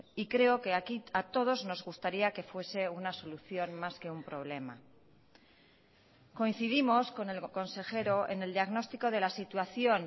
y creo que aquí a todos nos gustaría que fuese una solución más que un problema coincidimos con el consejero en el diagnóstico de la situación